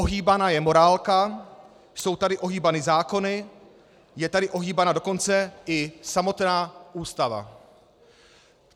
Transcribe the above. Ohýbána je morálka, jsou tady ohýbány zákony, je tady ohýbána dokonce i samotná Ústava.